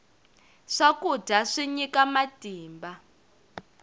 swakudya swi nyika matimba